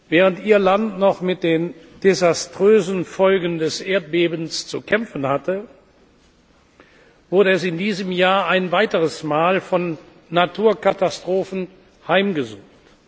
Während Ihr Land noch mit den desaströsen Folgen des Erdbebens zu kämpfen hatte, wurde es in diesem Jahr ein weiteres Mal von Naturkatastrophen heimgesucht.